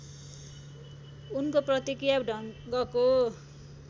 उनको प्रतिक्रिया ढङ्गको